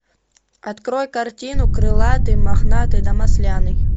открой картину крылатый мохнатый да масляный